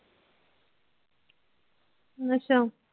ਅੱਛਾ।